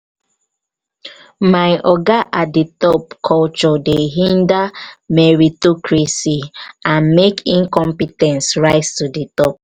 my oga at di top'' culture dey hinder meritocracy and make incompe ten t rise to di top.